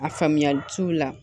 A faamuyali c'u la